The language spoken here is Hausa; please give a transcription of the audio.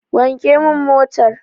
Wanke min motar.